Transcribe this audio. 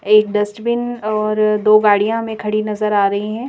एक डस्टबिन और दो गाड़ियां हमें खड़ी नजर आ रही हैं।